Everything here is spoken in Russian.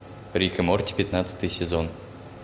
рик и морти пятнадцатый сезон